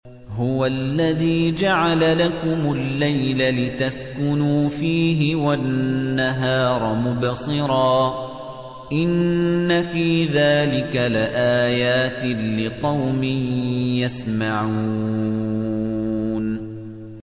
هُوَ الَّذِي جَعَلَ لَكُمُ اللَّيْلَ لِتَسْكُنُوا فِيهِ وَالنَّهَارَ مُبْصِرًا ۚ إِنَّ فِي ذَٰلِكَ لَآيَاتٍ لِّقَوْمٍ يَسْمَعُونَ